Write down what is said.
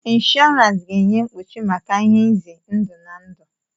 Inshọransi ga-enye mkpuchi maka ihe nze ndụ na ndụ.